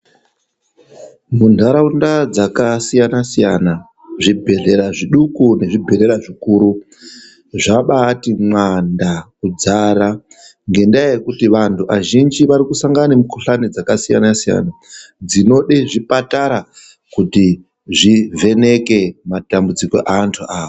Munthqraunda dzaksiyana siyana zvibhedhlera zviduku nezvibhedhlera zvikuru zvambaati mwanda kuzara nhendaa yekuti vanthu vazhinji vari kusangana nemikuhlani dzakasiyana siyana dzinode zvipatara kuti dzivheneke matambudziko evanthu aya.